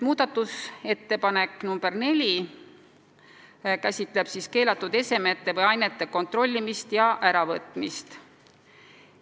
Muudatusettepanek nr 4 käsitleb keelatud esemete või ainete kontrollimist ja äravõtmist.